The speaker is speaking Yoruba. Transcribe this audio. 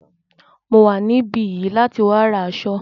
Mo wà níbí yìí láti wá ra aṣọ.